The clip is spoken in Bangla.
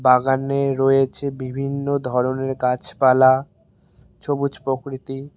বাগানে রয়েছে বিভিন্ন ধরনের গাছপালা সবুজ প্রকৃতি।